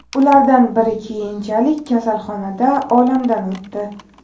Ulardan biri keyinchalik kasalxonada olamdan o‘tdi.